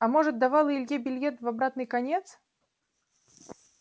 а может давала илье билет в обратный конец